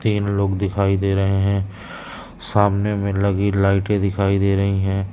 तीन लोग दिखाई दे रहे हैं सामने में लगी लाइटें दिखाई दे रही हैं।